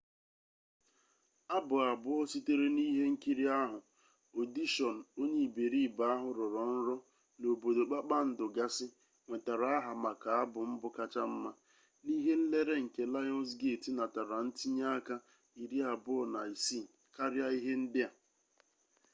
abụ abụọ sitere n’ihenkiri ahụ ọdishọn onye iberibe ahu rọrọ nrọ na obodo kpakpandu gasị nwetara aha maka abụ mbụ kacha mma. n’ihe nlere nke lionsgate natara ntinye aka 26 — karia ihe ndi a